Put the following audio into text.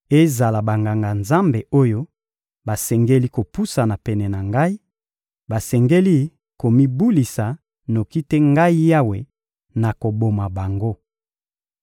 Ezala Banganga-Nzambe oyo basengeli kopusana pene na Ngai, basengeli komibulisa; noki te Ngai Yawe, nakoboma bango.